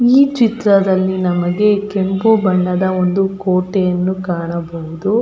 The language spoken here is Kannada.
ಈ ಚಿತ್ರದಲ್ಲಿ ನಮಗೆ ಕೆಂಪು ಬಣ್ಣದ ಒಂದು ಕೋಟೆಯನ್ನು ಕಾಣಬಹುದು.